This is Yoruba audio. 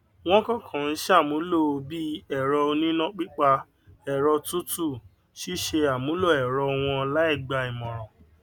wọn kàn kàn ṣàmúlò bí èrọ oníná pípa ẹrọ tútù ṣíṣe àmúlò èrọ wọn láì gbà ìmòràn